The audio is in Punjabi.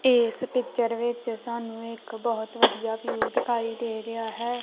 ਏਸ ਪਿੱਚਰ ਵਿੱਚ ਸਾਨੂੰ ਇੱਕ ਬਹੁਤ ਵਧੀਆ ਵਿਊ ਦਿਖਾਈ ਦੇ ਰਿਹਾ ਹੈ।